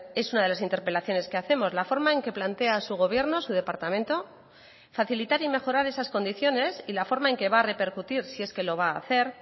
es una de las interpelaciones que hacemos la forma en que plantea su gobierno su departamento facilitar y mejorar esas condiciones y la forma en que va a repercutir si es que lo va a hacer